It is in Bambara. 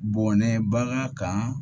Bɔnɛ bagan kan